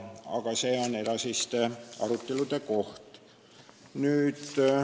Aga see on edasiste arutelude koht.